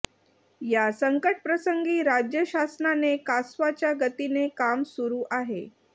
या संकटप्रसंगी राज्य शासनाचे कासवाच्या गतीने काम सुरु आहे